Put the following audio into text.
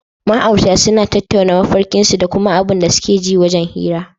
Ma aurata sunan tattaunawa mafarken su dakuma abun da suke ji wajan hira